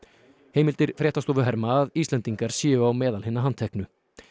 heimildir fréttastofu herma að Íslendingar séu á meðal hinna handteknu